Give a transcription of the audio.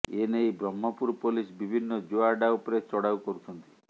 ଏନେଇ ବ୍ରହ୍ମପୁର ପୋଲିସ ବିଭିନ୍ନ ଜୁଆ ଆଡ୍ଡା ଉପରେ ଚଡାଉ କରୁଛନ୍ତି